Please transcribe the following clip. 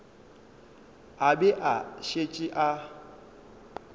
a be a šetše a